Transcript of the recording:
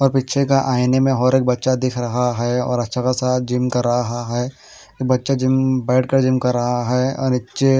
और पीछे के आयाने मैं और एक बच्चा दिख रहा हैं और अच्छा खासा जिम कर रहा हैं बच्चा जिम कर रहा है और एक चेयर --